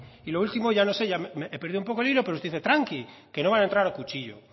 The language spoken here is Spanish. y lo último ya no sé he perdido un poco el hilo pero usted dice tranqui que no van a entrar a cuchillo